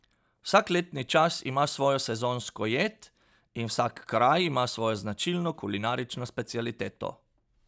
Vsak letni čas ima svojo sezonsko jed in vsak kraj ima svojo značilno kulinarično specialiteto.